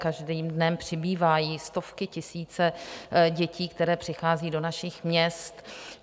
Každým dnem přibývají stovky, tisíce dětí, které přicházejí do našich měst.